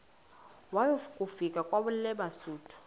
waya kufika kwelabesuthu